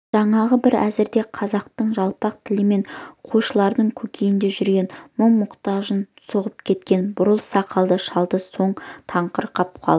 жаңағы бір әзірде қазақтың жалпақ тілімен қойшылардың көкейінде жүрген мұң-мұқтажын соғып кеткен бурыл сақалды шалдан соң тоқырап қалып